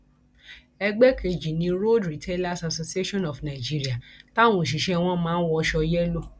ẹgbẹ kejì ni road retailers association of nigeria táwọn òṣìṣẹ wọn máa ń wọṣọ yẹlò